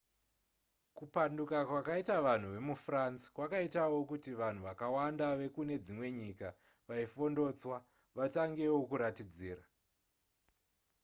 kupanduka kwakaita vanhu vemufrance kwakaitawo kuti vanhu vakawanda vekune dzimwe nyika vaifondotswa vatangewo kuratidzira